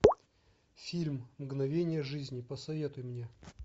фильм мгновения жизни посоветуй мне